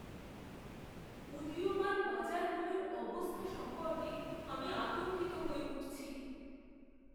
উদীয়মান বাজারগুলোর অবস্থা সম্পর্কে আমি আতঙ্কিত হয়ে উঠছি।